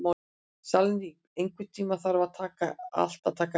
Salný, einhvern tímann þarf allt að taka enda.